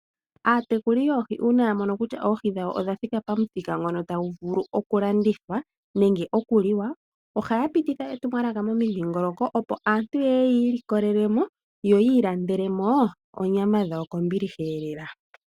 Aatekuli yoohi uuna yamono kutya oohi dhawo odha thika pamuthika ngoka tadhi vulu oku landithwa nenge oku liwa, oha ya pititha etumwalaka momidhingoloko opo aantu yeye yiilikolelemo, yo yiilandelemo onyama dhawo kombiliha lela.